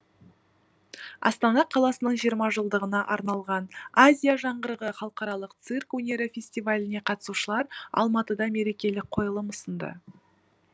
астана қаласының жиырма жылдығына арналған азия жаңғырығы халықаралық цирк өнері фестиваліне қатысушылар алматыда мерекелік қойылым ұсынды